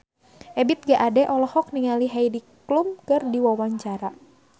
Ebith G. Ade olohok ningali Heidi Klum keur diwawancara